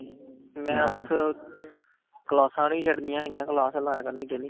ਮੈ ਬਸ ਕਲਾਸਾਂ ਨੀ ਛੱਡਣੀਆ ਹੈਗੀਆ ਬਸ ਕਲਾਸ ਲਾਇਆ ਕਰਨੀ daily